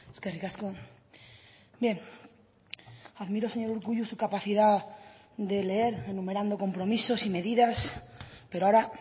eskerrik asko bien admiro señor urkullu su capacidad de leer enumerando compromisos y medidas pero ahora